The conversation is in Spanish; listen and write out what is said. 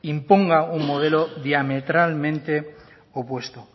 imponga un modelo diametralmente opuesto